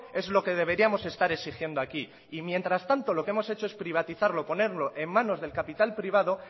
es lo que deberíamos estar exigiendo aquí y mientras tanto lo que hemos hecho es privatizarlo ponerlo en manos del capital privado